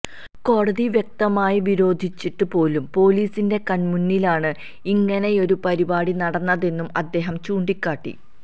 കോടതി വ്യക്തമായി വിരോധിച്ചിട്ട് പോലും പോലിസിന്റെ കണ്മുന്നിലാണ് ഇങ്ങനെയൊരു പരിപാടി നടന്നതെന്നും അദ്ദേഹം ചൂണ്ടിക്കാട്ടി